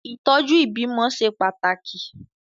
Ìtọ́jú ìbímọ ṣe pàtàkì.